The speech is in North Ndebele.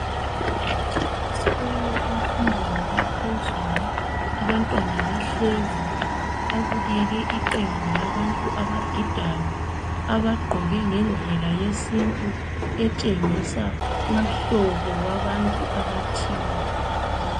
Esikolo emfundeni yaphezulu abantwana bahlezi babukele iqembu labantu abagidayo abagqoke ngendlela yesintu etshengisa umhlobo wabantu abathile.